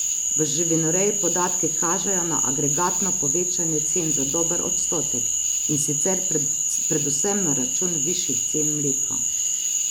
V živinoreji podatki kažejo na agregatno povečanje cen za dober odstotek, in sicer predvsem na račun višjih cen mleka.